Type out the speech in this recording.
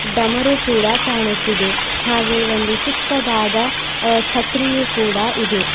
ಡಮರೂ ಕೂಡ ಕಾಣುತ್ತಿದೆ ಹಾಗೆ ಒಂದು ಚಿಕ್ಕದಾದ ಅ ಛತ್ರಿಯು ಕೂಡ ಇದೆ.